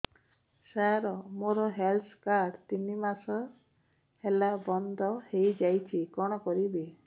ସାର ମୋର health card ତିନି ମାସ ହେଲା ବନ୍ଦ ହେଇଯାଇଛି କଣ କରିବି